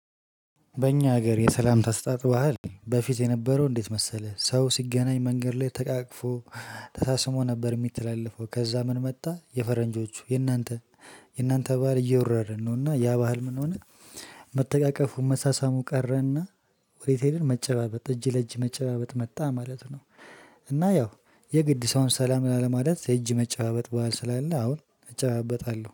በእኛ ሀገር የሰላም ተሰጣጦ ባህል በፊት የነበረው እንዴት መሰለህ ሰው ሲገናኝ መንገድ ላይ ተቃቅፎ ተሳስሞ ነበር የሚተላለፈው ከዛ ምን መጣ የፈረንጆቹ የእናንተ የእናንተ ባህል እየወረረን ነውና ያ ባህል ምን ሆነ? መተቃቀፉን መሳሳሙ ቀረና ወዴት ሄደን መጨባበጥ እጅ ለእጅ መጨባበጥ መጣ ማለት ነው። እና ያው የግድ ሰውን ሰላም ላለማለት የእጅ መጨባበጥ ባህል ስላለ አሁን እጨባበጣለሁ